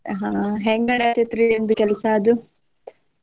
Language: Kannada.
ಆಹ್ ಹೆಂಗ ನಡ್ಯಾತೆತ್ರಿ ನಿಮ್ದ ಕೆಲ್ಸ ಅದು?